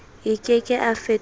a ke ke a fetolwa